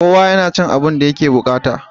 Kowa yana cin abin da yake buƙata.